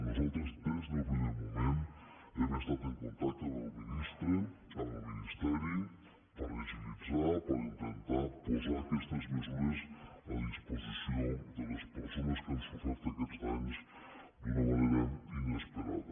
nosaltres des del primer moment hem estat en contacte amb el ministre amb el ministeri per a agilitzar per a intentar posar aquestes mesures a disposició de les persones que han sofert aquests danys d’una manera inesperada